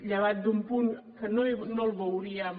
llevat d’un punt que no el veuríem